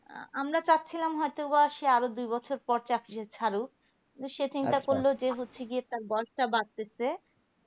আহ আমরা চাচ্ছিলাম হয় তো সে আরো দুই বছর পর চাকরিটা ছাড়ুক কিন্তু সে চিন্তা করলো যে হচ্ছে গিয়ে তার বয়সটা বাড়তেছে